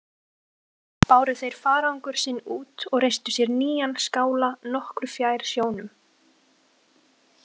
Báru þeir farangur sinn út og reistu sér nýjan skála nokkru fjær sjónum.